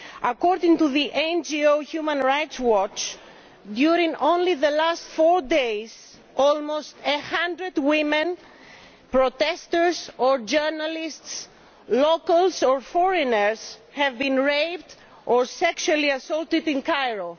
According to the NGO Human Rights Watch, during the last four days alone almost 100 women protesters or journalists, locals or foreigners have been raped or sexually assaulted in Cairo.